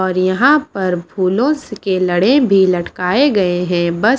और यहां पर बोलो के लड़े भी लटकाए गए हैं बस--